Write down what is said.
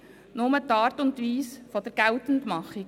Es ändert nur die Art und Weise der Geltendmachung.